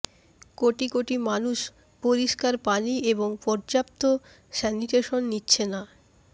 কোটি কোটি মানুষ পরিষ্কার পানি এবং পর্যাপ্ত স্যানিটেশন নিচ্ছে না